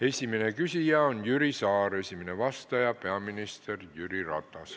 Esimene küsija on Jüri Saar, esimene vastaja on peaminister Jüri Ratas.